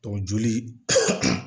joli